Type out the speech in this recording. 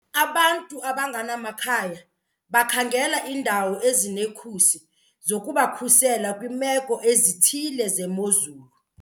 Abantu abangenamakhaya bakhangela iindawo ezinekhusi zokubakhusela kwiimeko ezithile zemozulu.